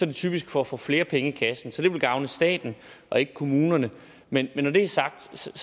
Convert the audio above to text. det typisk for at få flere penge i kassen så det vil gavne staten og ikke kommunerne men når det er sagt